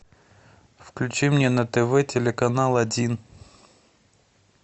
включи мне на тв телеканал один